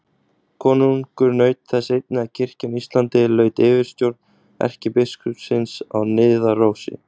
Konungur naut þess einnig að kirkjan á Íslandi laut yfirstjórn erkibiskupsins á Niðarósi.